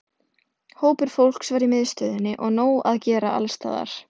Hópur fólks var í miðstöðinni og nóg að gera alls staðar.